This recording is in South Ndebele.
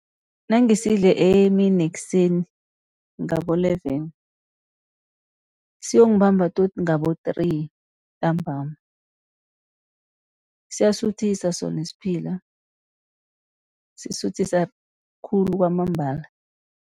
Nangisidle emini nekuseni ngabo-eleven siyongibamba tot ngabo three ntambama. Siyasuthisa sona isphila, sisuthisa khulu kwamambala.